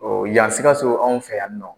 yan Sikaso anw fɛ yan nɔ.